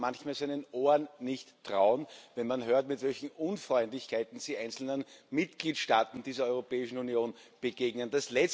Man kam manchmal seinen Ohren nicht trauen, wenn man hört, mit welchen Unfreundlichkeiten sich die einzelnen Mitgliedstaaten dieser Europäischen Union begegnen.